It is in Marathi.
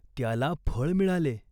त्याला फळ मिळाले.